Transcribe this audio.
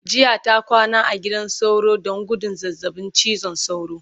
jiya ta kwana a gidan sauro Dan gudun zazzaɓin cizon sauro